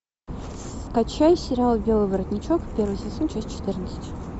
скачай сериал белый воротничок первый сезон часть четырнадцать